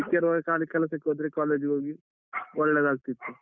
ಚಿಕ್ಕಿರುವಾಗ ಖಾಲಿ ಕೆಲಸಕ್ಕೆ ಹೋದ್ರೆ ಕಾಲೇಜಿಗೆ ಹೋಗಿ ಒಳ್ಳೆದಾಗ್ತಿತ್ತು.